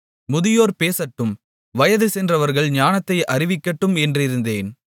முதியோர் பேசட்டும் வயது சென்றவர்கள் ஞானத்தை அறிவிக்கட்டும் என்றிருந்தேன்